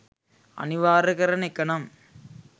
අනිවාර්ය කරන එක නම්